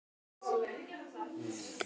Amma er dáin